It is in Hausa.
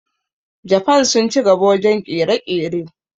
Jafan sun ci gaba wajen ƙere-ƙere